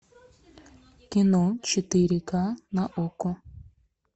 кино четыре ка на окко